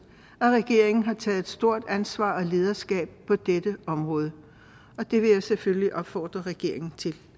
at regeringen har taget et stort ansvar og lederskab på dette område og det vil jeg selvfølgelig opfordre regeringen til